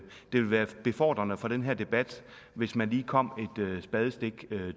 ville være befordrende for den her debat hvis man lige kom et spadestik